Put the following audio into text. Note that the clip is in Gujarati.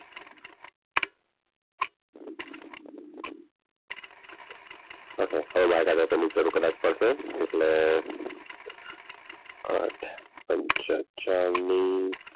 ની જરૂર કદાચ હવે પડશે એટલે આઠ પંચા ચાલીસ.